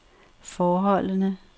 forholdene